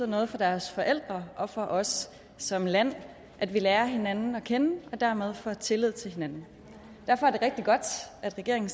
noget for deres forældre og for os som land at vi lærer hinanden at kende og dermed får tillid til hinanden derfor er det rigtig godt at regeringen